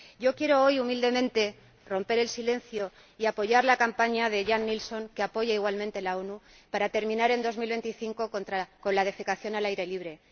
Yo quiero hoy, humildemente, romper el silencio y apoyar la campaña de Jan Eliasson, que apoyan igualmente las Naciones Unidas, para terminar en el año 2025 con la defecación al aire libre.